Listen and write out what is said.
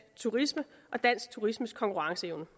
turisme og dansk turismes konkurrenceevne